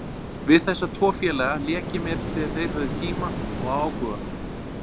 Við þessa tvo félaga lék ég mér þegar þeir höfðu tíma og áhuga.